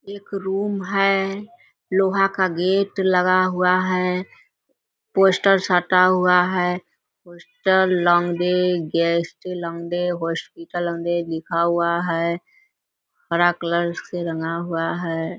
एक रूम है लोहा का गेट लगा हुआ है पोस्टर साटा हुआ है पोस्टर लिखा हुआ है हरा कलर से रंगा हुआ है।